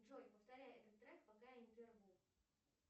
джой повторяй этот трек пока я не прерву